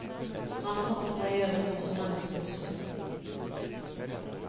Han har maktet å gjøre noe som mennesker husker.